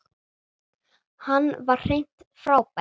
Hann var hreint frábær.